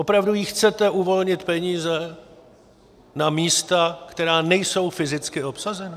Opravdu jí chcete uvolnit peníze na místa, která nejsou fyzicky obsazena?